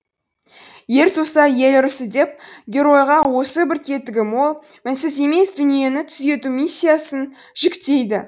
ер туса ел ырысы деп геройға осы бір кетігі мол мінсіз емес дүниені түзету миссиясын жүктейді